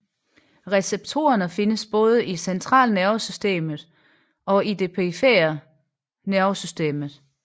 Receptorerne findes både i centralnervesystemet og i det perifere nervesystem